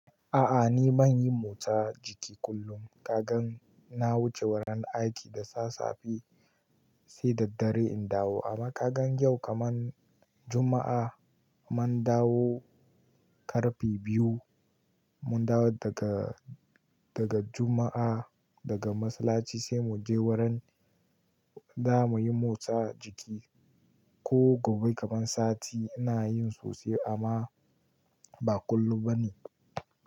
A'a ni ban yi motsa jiki kullum. Kagan na wuce wurin aiki da sassafe sai daddare in dawo amma kagan yau kaman Juma'a mun dawo ƙarfe biyu. Mun dawo daga, daga Juma'a daga masallaci sai mu je wurin za mu yi motsa jiki. Ko gobe kaman sati ina yin sosai amma ba kullum bane.